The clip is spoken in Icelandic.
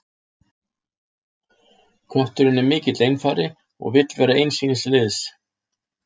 Kötturinn er mikill einfari og vill vera eins síns liðs.